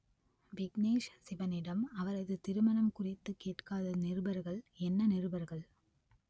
விக்னேஷ் சிவனிடம் அவரது திருமணம் குறித்து கேட்காத நிருபர்கள் என்ன நிருபர்கள்